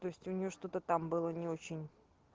то есть у неё что-то там было не очень